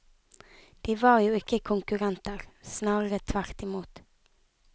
De var jo ikke konkurrenter, snarere tvert imot.